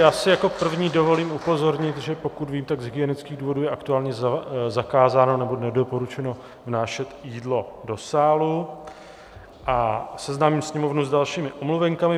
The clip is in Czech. Já si jako první dovolím upozornit, že pokud vím, tak z hygienických důvodů je aktuálně zakázáno, nebo nedoporučeno, vnášet jídlo do sálu, a seznámím Sněmovnu s dalšími omluvenkami.